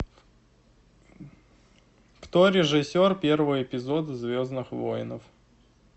кто режиссер первого эпизода звездных воинов